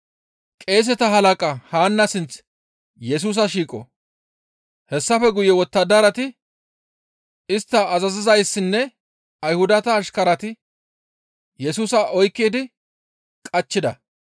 Hessafe guye wottadarati, istta azazizayssinne Ayhudata ashkarati Yesusa oykkidi qachchida.